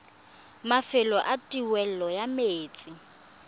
mafelo a taolo ya metsi